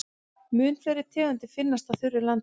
Mun fleiri tegundir finnast á þurru landi.